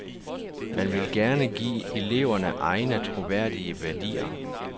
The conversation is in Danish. Man vil give eleverne egne, troværdige værdier.